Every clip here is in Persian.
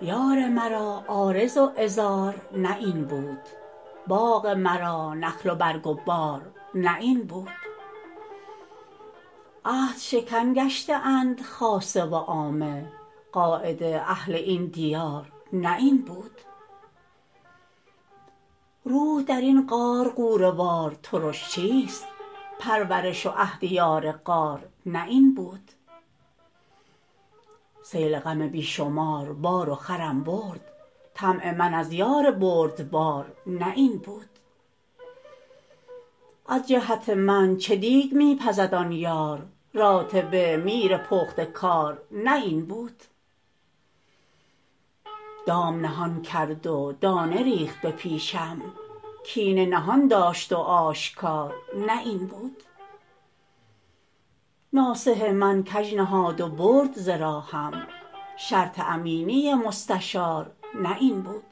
یار مرا عارض و عذار نه این بود باغ مرا نخل و برگ و بار نه این بود عهدشکن گشته اند خاصه و عامه قاعده اهل این دیار نه این بود روح در این غار غوره وار ترش چیست پرورش و عهد یار غار نه این بود سیل غم بی شمار بار و خرم برد طمع من از یار بردبار نه این بود از جهت من چه دیگ می پزد آن یار راتبه میر پخته کار نه این بود دام نهان کرد و دانه ریخت به پیشم کینه نهان داشت و آشکار نه این بود ناصح من کژ نهاد و برد ز راهم شرط امینی و مستشار نه این بود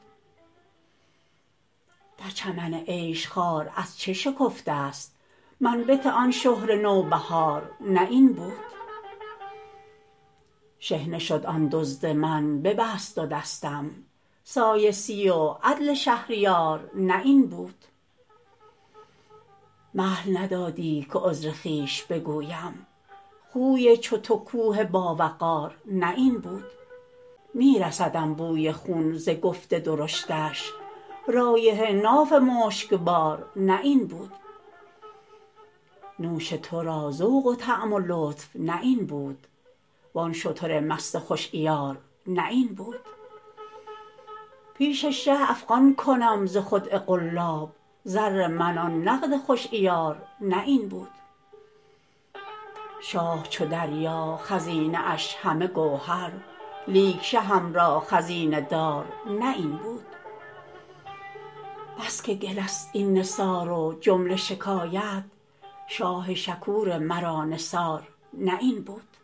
در چمن عیش خار از چه شکفته ست منبت آن شهره نوبهار نه این بود شحنه شد آن دزد من ببست دو دستم سایسی و عدل شهریار نه این بود مهل ندادی که عذر خویش بگویم خوی چو تو کوه باوقار نه این بود می رسدم بوی خون ز گفت درشتش رایحه ناف مشکبار نه این بود نوش تو را ذوق و طعم و لطف نه این بود وان شتر مست خوش عیار نه این بود پیش شه افغان کنم ز خدعه قلاب زر من آن نقد خوش عیار نه این بود شاه چو دریا خزینه اش همه گوهر لیک شهم را خزینه دار نه این بود بس که گله ست این نثار و جمله شکایت شاه شکور مرا نثار نه این بود